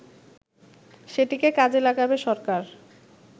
সেটিকে কাজে লাগাবে সরকার